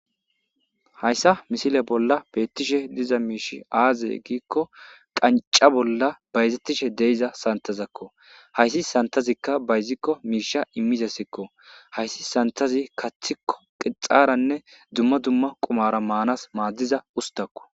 Haysa misile bolla beetishe diza miishi aaze giiko,qancca bolla bayzetishe diza santhezako hayssi santhazika bayziko miisha immizaysako. Hayssi sanththazi kaththiko qixxaranne dumma dumma qumara maanas maadiza ustako